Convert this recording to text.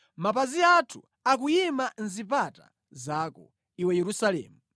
Mapazi athu akuyima mʼzipata zako, Iwe Yerusalemu.